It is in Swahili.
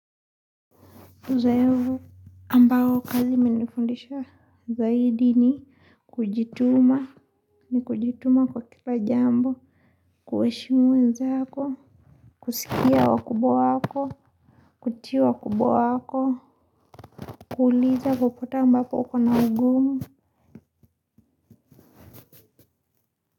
Uzoevu ambao kazi imenifundisha zaidi ni kujituma, ni kujituma kwa kila jambo, kueshimu wenzako, kusikia wakubwa wako, kutii wa kubwa wako, kuuliza popote ambapo uko na ugumu.